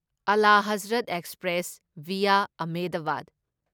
Ala Hazrat express via Ahmedabad